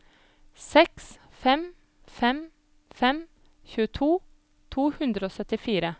seks fem fem fem tjueto to hundre og syttifire